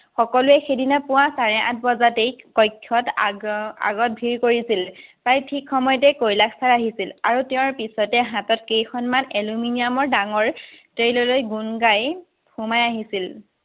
সকলোৱে সিদিনা পুৱা চাৰে-আঠবজাতেই কক্ষ্যত আগত ভিৰ কৰিছিল। প্ৰায় ঠিক সময়তেই কৈলাশ চাৰ আহিছিল, আৰু তেঁওৰ পিছতে হাতত কেইখনমান aluminium ৰ ডাঙৰ tray লৈ গুণ গাই সোমাই আহিছিল।